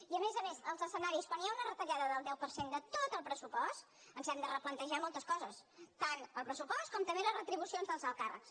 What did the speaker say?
i a més a més els escenaris quan hi ha una retallada del deu per cent de tot el pressupost ens hem de replantejar moltes coses tant el pressupost com també les retribucions dels alts càrrecs